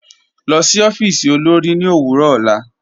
Lọ sí ọfiísì olórì ni owurọ ọlá.